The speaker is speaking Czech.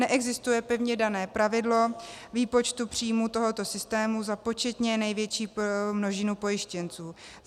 Neexistuje pevně dané pravidlo výpočtu příjmů tohoto systému za početně největší množinu pojištěnců.